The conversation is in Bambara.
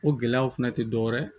O gɛlɛyaw fɛnɛ tɛ dɔ wɛrɛ ye